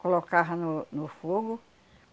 Colocava no no fogo.